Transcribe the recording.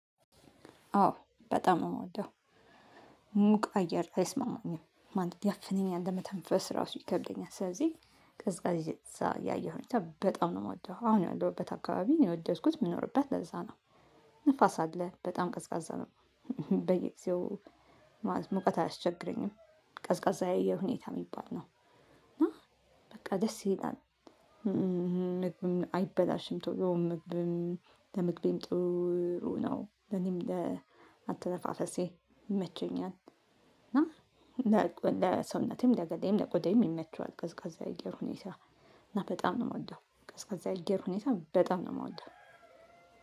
አዎ በጣም ነው ምወደው። ሙቅ አየር አይስማማኝም ማለት ያፍነኛል ለመተንፈስ ራሱ ይከብደኛል። ስለዚህ ቅዝቃዜ ያየር ሁኔታ በጣም ነው ምወደው አሁን ያለሁበት አካባቢ የወደድኩት ምኖርበት ለዛ ነው። ንፋስ አለ በጣም ቀዝቃዛ ነው። በየጊዜው ማለት ሙቀት አያስቸግረኝም ቀዝቃዛ የአየር ሁኔታ የሚባል ነው። እና በቃ ደስ ይላል። ምግብም አይበላሽም ቶሎ ምግብም ለምግቤም ጥሩ ነው ለኔም ለአተነፋፈሴ ይመቸኛል። እና ለሰውነቴም ለገላየም ለቆዴየም ይመቸዋል። ቀዝቃዛ የአየር ሁኔታ እና በጣም ነው ምወደው ቀዝቃዛ የአየር ሁኔታ በጣም ነው ምወደው።